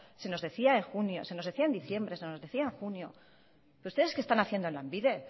se nos decía en diciembre se nos decía en junio ustedes qué están haciendo en lanbide